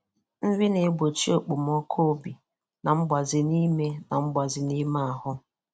nri na-egbochi okpomọkụ obi na mgbaze n'ime na mgbaze n'ime ahụ